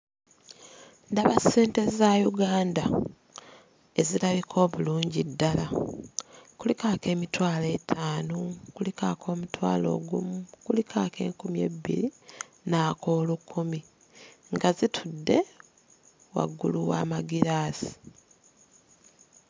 Ndaba ssente za Uganda ezirabika obulungi ddala. Kuliko ak'emitwalo etaano, kuliko ak'omutwalo ogumu, kuliko ak'enkumi ebbiri n'ak'olukumi. Nga zitudde waggulu w'amagiraasi.